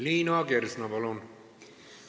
Liina Kersna, palun!